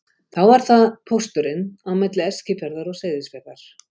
Þá var það pósturinn á milli Eskifjarðar og Seyðisfjarðar.